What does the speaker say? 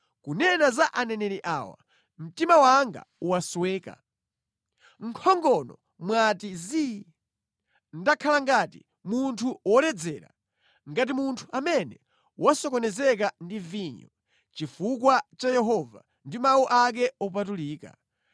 Kunena za aneneri awa: Mtima wanga wasweka; mʼnkhongono mwati zii. Ndakhala ngati munthu woledzera, ngati munthu amene wasokonezeka ndi vinyo, chifukwa cha Yehova ndi mawu ake opatulika.